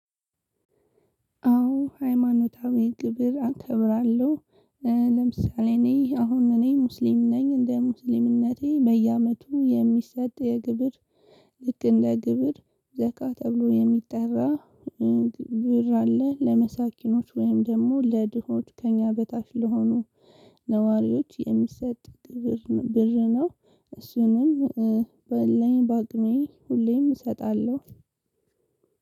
አዎ ሃይማኖታዊ ግብር አከብራለሁ። ለምሳሌ እኔ አሁን እኔ ሙስሊም ነኝ እንደ ሙስሊምነቴ በየአመቱ የሚሰጥ የግብር ልክ እንደ ግብር ዘካ ተብሎ የሚጠራ ግብር አለ ለመሳኪኖች ወይም ደግሞ ለድሆች ከእኛ በታች ለሆኑ ነዋሪዎች የሚሰጥ ብር ነው እሱንም ባለኝ በአቅሜ ሁሌም እሰጣለሁ